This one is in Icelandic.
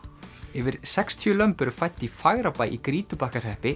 yfir sextíu lömb eru fædd í Fagrabæ í Grýtubakkahreppi